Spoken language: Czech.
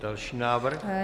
Další návrh.